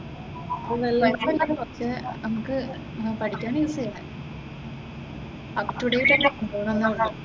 പക്ഷെ നമ്മുക്ക് പഠിക്കാൻ ഈസിയാ, അപ്പ് ടു ഡേറ്റ് ആയിട് കൊണ്ടുപോകണം എന്നെ ഉള്ളു.